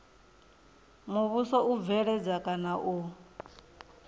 muvhuso u bveledza kana u